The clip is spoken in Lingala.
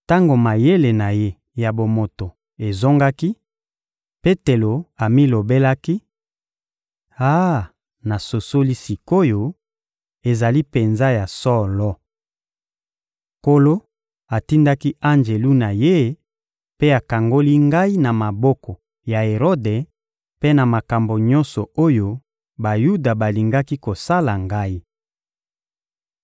Tango mayele na ye ya bomoto ezongaki, Petelo amilobelaki: — Ah, nasosoli sik’oyo, ezali penza ya solo! Nkolo atindaki anjelu na Ye mpe akangoli ngai na maboko ya Erode mpe na makambo nyonso oyo Bayuda balingaki kosala ngai.